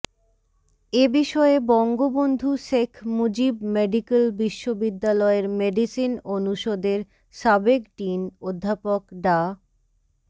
এ বিষয়ে বঙ্গবন্ধু শেখ মুজিব মেডিক্যাল বিশ্ববিদ্যালয়ের মেডিসিন অনুষদের সাবেক ডিন অধ্যাপক ডা